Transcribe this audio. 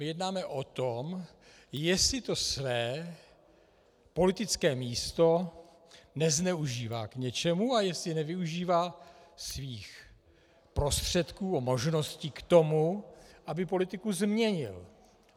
My jednáme o tom, jestli to své politické místo nezneužívá k něčemu a jestli nevyužívá svých prostředků a možností k tomu, aby politiku změnil.